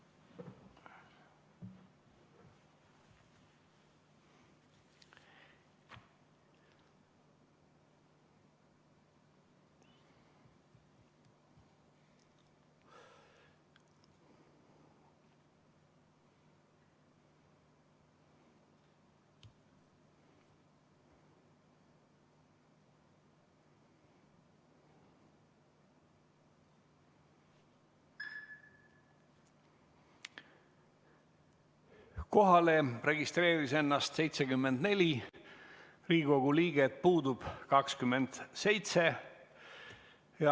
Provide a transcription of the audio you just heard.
Kohalolijaks registreeris ennast 74 Riigikogu liiget, puudub 27.